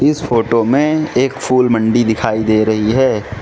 इस फोटो में एक फूल मंडी दिखाई दे रही है।